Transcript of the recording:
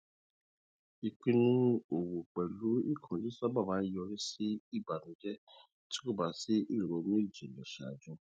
ìpinnu owó pẹlú ìkánjú sábà ń yọrí sí ìbànújẹ tí kò bá sí ìrònú jinlẹ ṣáájú